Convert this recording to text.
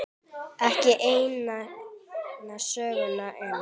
Ekki eina söguna enn.